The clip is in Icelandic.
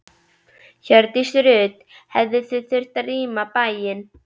Hjördís Rut: Hefðuð þið þurft að rýma bæinn?